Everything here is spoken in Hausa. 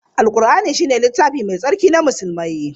Al-Qur'ani ne littafi Mai Tsarki na Musulmi.